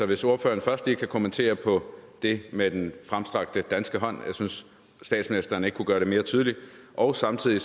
hvis ordføreren først lige kan kommentere på det med den fremstrakte danske hånd jeg synes statsministeren ikke kunne gøre det mere tydeligt og samtidig